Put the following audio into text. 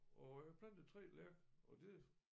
Og jeg plantede 3 lærk og det